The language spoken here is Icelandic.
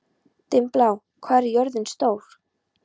Dimmblá, hvað er jörðin stór?